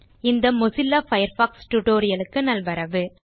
இந்த Mozilla Firefox tutorial க்கு நல்வரவு